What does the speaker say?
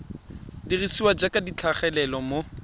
dirisiwa jaaka di tlhagelela mo